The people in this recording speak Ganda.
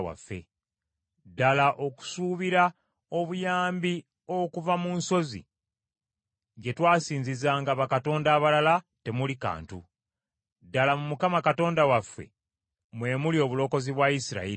Ddala okusuubira obuyambi okuva mu nsozi gye twasinzizanga bakatonda abalala temuli kantu. Ddala mu Mukama Katonda waffe mwe muli obulokozi bwa Isirayiri.